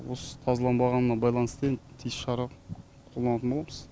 осы тазаланбағанына байланысты енді тиісті шара қолданатын боламыз